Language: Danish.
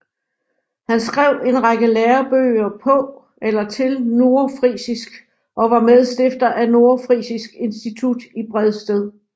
Han skrev en række lærebøger på eller til nordfrisisk og var medstifter af Nordfrisisk Institut i Bredsted